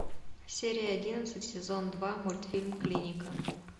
серия одиннадцать сезон два мультфильм клиника